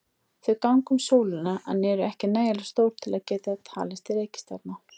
Þau ganga um sólina en eru ekki nægilega stór til að geta talist til reikistjarna.